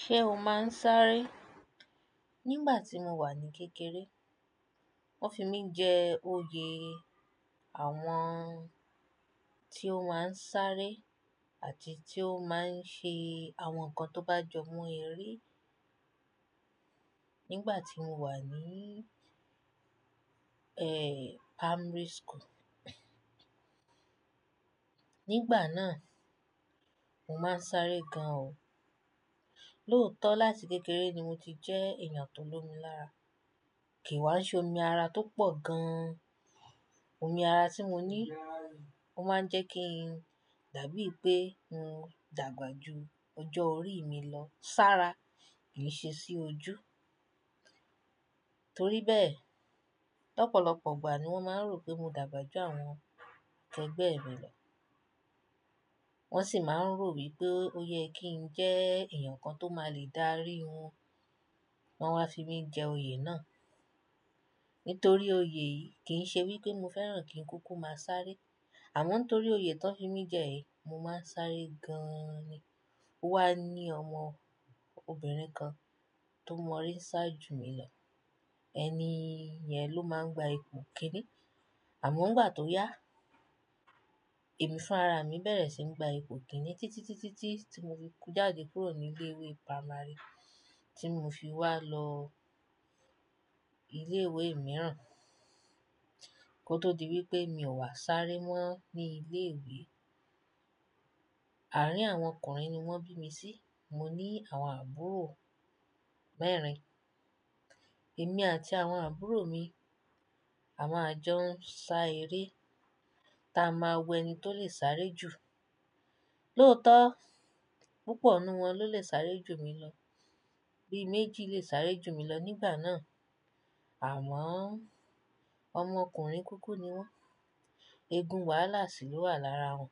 Ṣé o máa ń sáré? Nígbà tí mo wà ní kékeré, wọ́n fi mí jẹ oyè àwọn tí ó máa ń sáré àti tí ó máa ń ṣe àwọn nǹkan tó bá jọmọ eré nígbà tí mo wà ní, ẹ́, primary school. Nígbà náà, mo máa ń sáré gan o. Lóótọ́ láti kékeré ni mo ti jẹ́ èèyàn tó lomi lára. Kì í wá ṣẹ́ omi ara tó pọ̀ gan. Omi ara tí mo ní, ó máa ń jẹ́ kí n dàbí pé mo dàgbà ju ọjọ́ orí mi lọ. Sára kì í ṣe sí ojú. Torí bẹ́ẹ̀, lọ́pọ̀lọpọ̀ ìgbà ni wọ́n máa ń rò pé mo dàgbà ju àwọn tẹ́gbẹ̀ mi lọ. Wọ́n sì máa ń rò wípé ó yẹ kí ń jẹ́ èèyàn kan tó máa le dárí wọn. Wọn wá fi mí jẹ oyè náà. Nítorí oyè yìí kì í ṣe wípé mo fẹ́ràn kí n kúkú máa sáré. Àmọ́ torí oyè tó ń fi mí jẹ yìí, mo máa ń sáré gan-an ni. Wà á ní ọmọ obìnrin kan tó mọre sá ju mi lọ. Ẹni yẹn ló máa ń gba ipò kìíní. Àmọ́ nígbà tó yá, èmi fún ara mi bẹ̀rẹ̀ sí ní gba ipò kìíní títí, títí, títí tí mo fi kú jáde kúrò ní ilé ìwé primary tí mo fi wá lọ ilé ìwé mìíràn kó tó di wípé mi ò wá sáré mọ́ ní ilé ìwé. Àárín àwọn ọkùnrin ni wọ́n bí mi sí. Mo ní àwọn àbúrò mẹ́rin. Èmi àti àwọn àbúrò mi, a máa jọ ń sa eré táa máa wo ẹni tó lè sáré jù. Lóòótọ́, púpọ̀ nínú wọn ló lè sáré jù mi lọ. Bíi méjì lè sáré jù mi lọ nígbà náà. Àwọn ọmọ ọkùnrin kúkú ni wọ́n. Egun wàhálà sì ló wà lára wọn.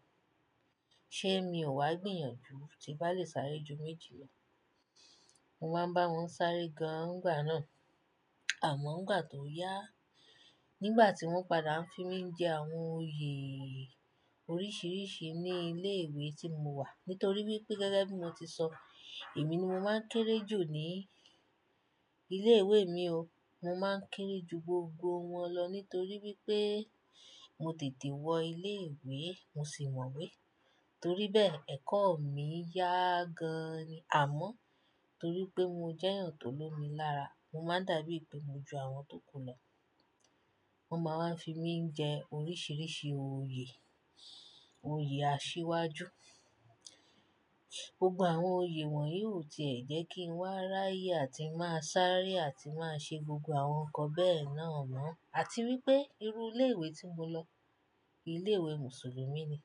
Ṣé mi ò wá gbìyànjú tí bá lè sáré ju méjì lọ? Mo máa ń bá wọn sáré gan nìgbà náà. Àmọ́ nígbà tó yá, nígbà tí wọ́n padà ń fi mí jẹ àwọn oyè oríṣìíríṣìí ní ilé ìwé tí mo wà, nítorí wípé gẹ́gẹ́ bí mo ti sọ, èmi ni mo máa ń kéré jù ní ilé ìwé mi o. Mo máa ń kéré ju gbogbo wọn lọ nítorí wípé mo tètè wọ ilé ìwé, mo sì mọ̀ we. Torí bẹ́ẹ̀, ẹ̀kọ́ mi yá gan-an ni. Àmọ́ torí pé mo jẹ́ èèyàn tó lomi lára, mo máa dàbí pé mo ju àwọn tó kù lọ. Wọ́n máa wá fi mí ń jẹ oríṣìíríṣìí oyè, oyè àṣiwájú. Gbogbo àwọn oyè wọ̀nyí ò tì ẹ́ jẹ́ kí n wá ráyè àti máa sáré àti máa ṣe gbogbo àwọn nǹkan bẹ́ẹ̀ náà mọ́. Àti wípé irú ilé ìwé tí mo lọ, ilé ìwé Mùsùlùmí ni.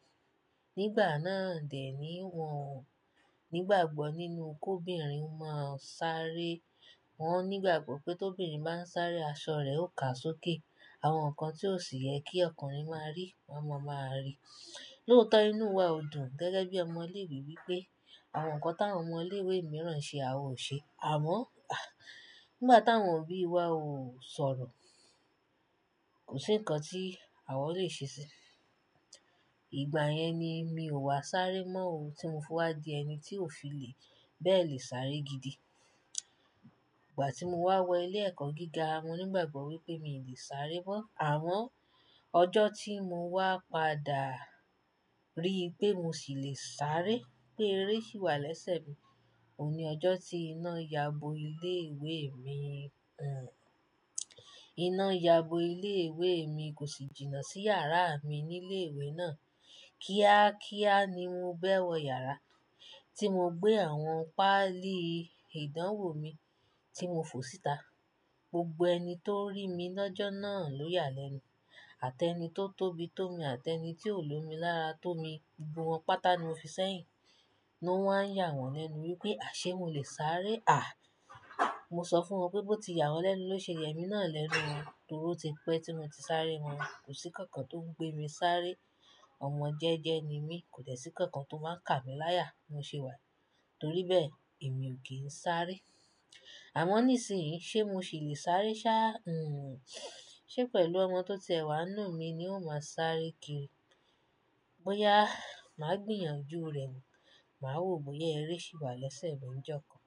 Nígbà náà dè ni wọ ò Nígbàgbọ́ nínú ko obìnrin máa ń sáré. Wọ nígbàgbọ́ pé tóbirin bá ń sáré, aṣọ rẹ̀ ó ká sókè. Àwọn nǹkan tí ò sì yẹ kí ọkùnrin máa rí, ọma máa rí. Lóòótọ́ inú wa ò dùn gẹ́gẹ́ bí ọmọ ilé ìwé wípé àwọn nǹkan táwọn ọmọ ilé ìwé mìíràn ṣe àwa ò ṣe. Àmọ́, nígbà táwọn òbí wa ò sọ̀rọ̀, kò sí nǹkan tí àwa ò lè ṣe sí. Ìgbà yẹn ni mi ò wá sáré mọ́ o tí mo fúnwá di ẹni tí ò fi lè bẹ́ẹ̀ lé sáré gidi. Ìgbà tí mo wá wọ ilé ẹ̀kọ́ gíga, mo nígbàgbọ́ wípé mi ò lè sáré mọ́. Àmọ́ ọjọ́ tí mo wá padà rí pé mo sì lè sáré, pé eré sì wà lẹ́sẹ̀ mi, òun ni ọjọ́ tí iná yabo ilé ìwé mi, iná yabo ilé ìwé mi kò sì jìnnà sí yàrá mi ní ilé ìwé náà. Kíá kíá ni mo bẹ́ẹ̀ wọ yàrá tí mo gbé àwọn páálí ìdánwò mi tí mo fò síta. Gbogbo ẹni tó rí mi lọ́jọ́ náà ló yà lẹ́nu. Àti ẹni tó tóbi tó mi àti ẹni tí ò lomi lára tó mi, gbogbo wọn pátá ni wọ́n fi seyìn. O wá ń yà wọ́n lẹ́nu wípé àṣé mo lè sáré. À! Mo sọ fún wọn wípé bó ti yà wọ́n lẹ́nu ló ṣe yẹ mí náà lẹ́nu wọn torí ó ti pẹ́ tí mo ti sáré wọn. Kò sí nǹkan kan tó ń gbé mi sáré. Ọmọ jẹ́jẹ́ ni mí, kò dẹ́ sí nǹkan kan tó máa ń kà mí láyà. Mo ṣe wà. Torí bẹ́ẹ̀ èmi ò kí ń sáré. Àmọ́ nísìnyí, ṣé mo ṣì lè sáré sá? Hmm. Ṣé pẹ̀lú ọmọ tó ti ẹwà ninu mi ni ó máa sáré kíri? Bóyá màá gbìyànjú rẹ̀, màá wo bóyá ẹré sì wà lẹ́sẹ̀ mi ní ọjọ́ kan.